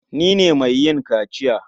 Ni ne mai yin kaciya.